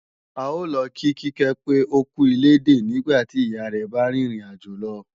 A ó lọ kí Kíkẹ́ pé ókú ilédè nígbàtí ìyá rẹ̀ bá rìn ìrìn àjò lọ